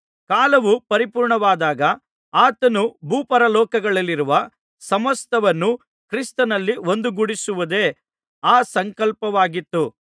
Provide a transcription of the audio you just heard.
ಕಾಲವು ಪರಿಪೂರ್ಣವಾದಾಗ ಆತನು ಭೂಪರಲೋಕಗಳಲ್ಲಿರುವ ಸಮಸ್ತವನ್ನು ಕ್ರಿಸ್ತನಲ್ಲಿ ಒಂದುಗೂಡಿಸುವುದೇ ಆ ಸಂಕಲ್ಪವಾಗಿತ್ತು